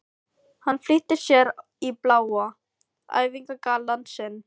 Hann flýtir sér í bláa æfingagallann sinn.